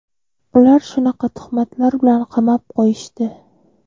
Ular shunaqa tuhmatlar bilan qamab qo‘yishdi.